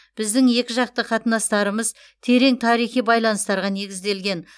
біздің екіжақты қатынастарымыз терең тарихи байланыстарға негізделген